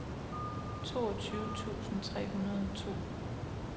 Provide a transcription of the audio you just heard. toogtyve tusind tre hundrede og to